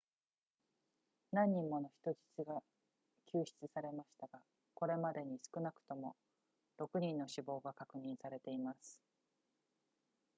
何人もの人質が救出されましたがこれまでに少なくとも6人の死亡が確認されています